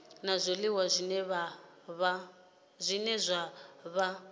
la zwiliwa zwine zwa vha